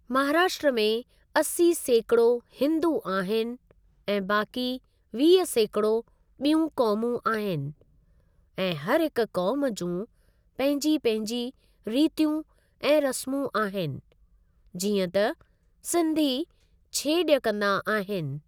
महाराष्ट्र में असी सैकिड़ो हिंदू आहिनि ऐं बाकी वीह सैकिड़ो ॿियूं क़ौमूं आहिनि ऐं हर हिकु क़ौम जूं पंहिंजी पंहिंजी रीतियूं ऐं रस्मूं आहिनि जीअं त सिंधी छेॼ कंदा आहिनि ।